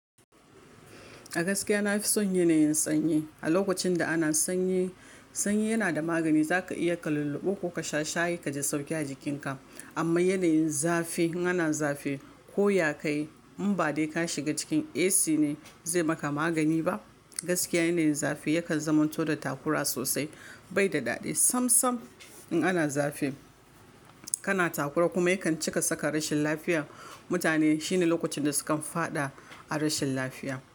A gaskiya na fi son yanayin sanyi. A lokacin da ana sanyi, sanyi yana da magani. Za ka iya ka lulluɓe ko ka sha shayi, ka ji sauƙi a jikinka. Amma yanayin zafi, in ana zafi ko ya kai in ba dai ka shiga cikin AC ne, zai maka magani ba. Gaskiya yanayin zafi yakan zamanto da takura sosai, bai da daɗi sam sam. In ana zafi, kana takura kuma yakan cika saka rashin lafiya mutane. Shine lokacin da sukan faɗa a rashin lafiya.